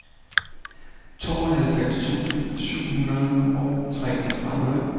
tooghalvfems tusind syv hundrede og treogtredive